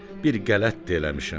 Bir qələt də eləmişəm.